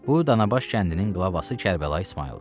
Bu Danabaş kəndinin qılavası Kərbəlayı İsmayıldır.